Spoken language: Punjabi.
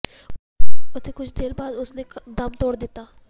ਉਥੇ ਕੁੱਝ ਦੇਰ ਬਾਅਦ ਉਸ ਨੇ ਦਮ ਤੋੜ ਦਿਤਾ